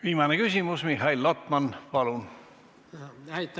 Viimane küsimus, Mihhail Lotman, palun!